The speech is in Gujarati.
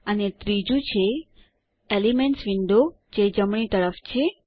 અને ત્રીજુ છે એલિમેન્ટ્સ વિન્ડો જે જમણી તરફ છે